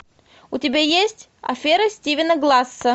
у тебя есть афера стивена гласса